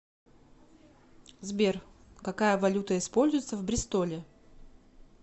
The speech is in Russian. сбер какая валюта используется в бристоле